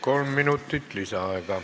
Kolm minutit lisaaega.